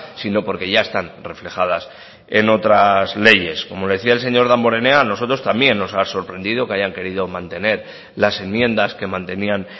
sino porque ya están reflejadas en otras leyes como decía el señor damborenea a nosotros también nos ha sorprendido que hayan querido mantener las enmiendas que mantenían